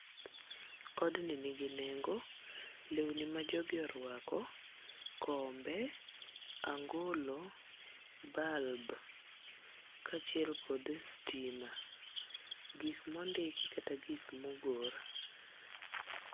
Odni nigi nengo, lewni ma jogi orwako, kombe, angolo, bulb, kaachiel kod stima. Gik mondiki kata gik mogor.